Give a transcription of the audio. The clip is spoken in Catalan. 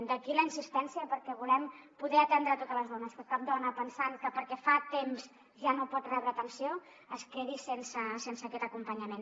d’aquí la insistència perquè volem poder atendre totes les dones que cap dona pensant que perquè fa temps ja no pot rebre atenció es quedi sense aquest acompanyament